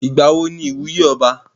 Ìgbàwo ní ìwúyè ọba?